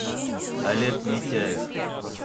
олег митяев